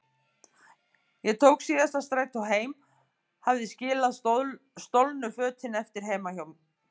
Ég tók síðasta strætó heim, hafði skilið stolnu fötin eftir heima hjá